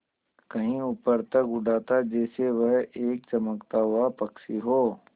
कहीं ऊपर तक उड़ाता जैसे वह एक चमकता हुआ पक्षी हो